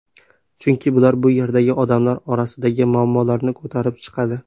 Chunki bular bu yerdagi odamlar orasidagi muammolarni ko‘tarib chiqadi.